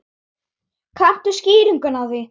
Kanntu skýringu á því?